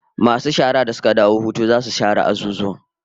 Masu shara da suka dawo hutu zasu share azuzuwan